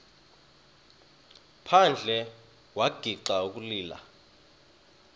phandle wagixa ukulila